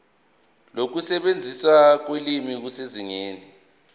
nokusetshenziswa kolimi kusezingeni